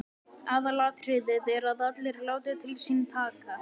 Aðalatriðið er að allir láti til sín taka.